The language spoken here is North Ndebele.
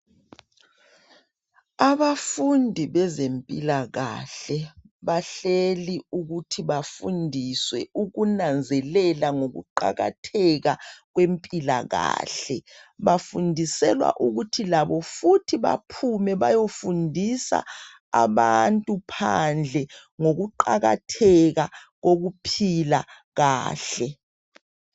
Abafundi bezempilakahle bahleli ukuthi bafundiswe ukunanzelela ngokuqakatheka kwempilakahle bafundiselwa ukuthi labo futhi baphume bayofundisa abantu phandle ngokuqakatheka kokuphila kahle